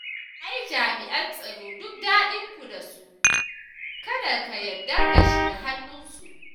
Ai jami'an tsaro duk daɗinku da su, kada ka yarda ka shiga hannunsu